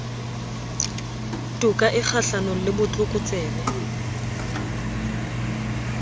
toka e kgahlanong le botlokotsebe